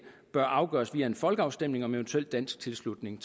bør afgøres via en folkeafstemning om eventuel dansk tilslutning